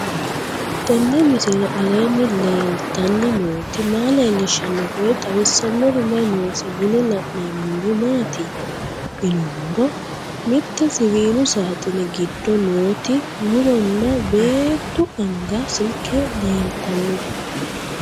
Tenni misile aleenni leelittanni nootti maa leelishshanno woy xawisannori may noosse yinne la'neemmori maattiya yinummoro mitte siwiillu saaxine giddo nootti muronna beettu anga silike leelittanno